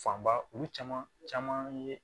Fanba olu caman caman ye